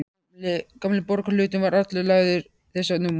Gamli borgarhlutinn var allur lagður þessum múr.